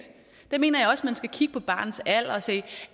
der mener jeg også man skal kigge på barnets alder og se